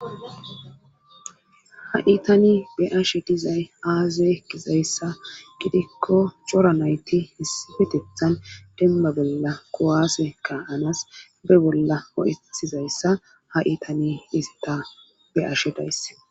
ha itani be'ashe dizay aaze gizayssa gidikko coranayti hissifetethan demma bolla kowaase ka7anas be bolla o7etizayssa ha itani isita be ashe daysse